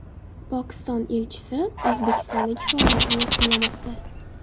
Pokiston elchisi O‘zbekistondagi faoliyatini yakunlamoqda.